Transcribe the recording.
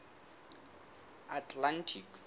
atlantic